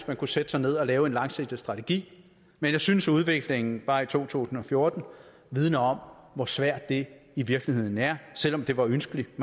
man kunne sætte sig ned og lave en langsigtet strategi men jeg synes at udviklingen bare i to tusind og fjorten vidner om hvor svært det i virkeligheden er selv om det var ønskeligt